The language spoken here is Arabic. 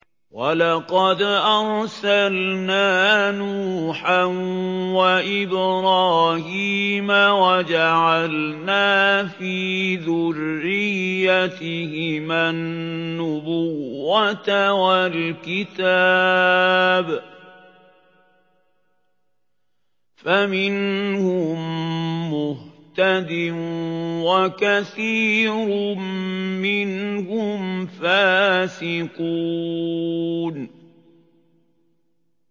وَلَقَدْ أَرْسَلْنَا نُوحًا وَإِبْرَاهِيمَ وَجَعَلْنَا فِي ذُرِّيَّتِهِمَا النُّبُوَّةَ وَالْكِتَابَ ۖ فَمِنْهُم مُّهْتَدٍ ۖ وَكَثِيرٌ مِّنْهُمْ فَاسِقُونَ